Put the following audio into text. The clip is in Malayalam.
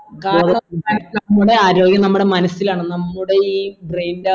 നമ്മുടെ ആരോഗ്യം നമ്മുടെ മനസ്സിലാണ് നമ്മുടെ ഈ brain